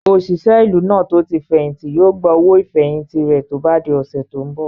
Òṣìṣẹ́ ìlú náà tó tí fẹ̀hìntì yóò gba owó ìfẹ̀hìntì rẹ̀ tó bá di ọ̀sẹ̀ tó n bọ̀